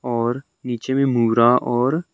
और नीचे में मुरा और--